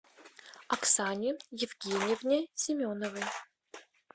оксане евгеньевне семеновой